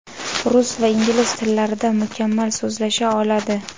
Rus va ingliz tillarida mukammal so‘zlasha oladi.